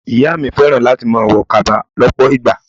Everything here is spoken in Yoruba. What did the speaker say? Ìyá mi fẹ́ràn láti máa wo kaba lọpọ ìgbà.